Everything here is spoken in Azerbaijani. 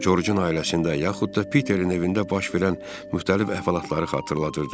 Corcun ailəsində yaxud da Piterin evində baş verən müxtəlif əhvalatları xatırladırdı.